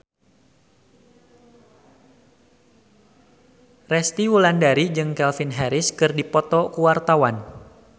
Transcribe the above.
Resty Wulandari jeung Calvin Harris keur dipoto ku wartawan